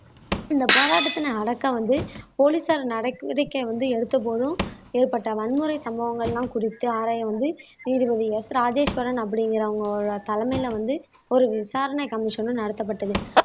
இந்த போராட்டத்தினை அடக்க வந்து போலீசார் நடவடிக்கை வந்து எடுத்த போதும் ஏற்பட்ட வன்முறை சம்பவங்கள் எல்லாம் குறித்து ஆராய வந்து நீதிபதி எஸ் ராஜேஸ்வரன் அப்படிங்கிறவங்க தலைமையில வந்து ஒரு விசாரணை கமிஷனும் நடத்தப்பட்டது